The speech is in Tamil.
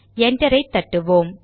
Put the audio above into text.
என்டரை தட்டுவோம்